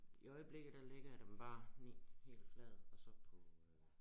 I øjeblikket der lægger jeg den bare ned helt flad og så på